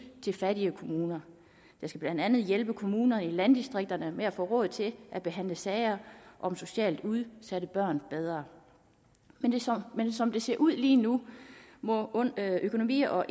til fattige kommuner det skal blandt andet hjælpe kommuner i landdistrikterne med at få råd til at behandle sager om socialt udsatte børn bedre men som det ser ud lige nu må økonomi og